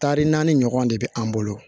Tari naani ɲɔgɔn de be an bolo